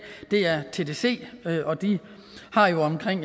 er tdc og de har jo omkring